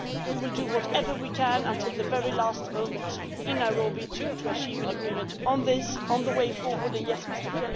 We will do whatever we can until the very last moment in Nairobi to achieve an agreement on the way forward. And yes,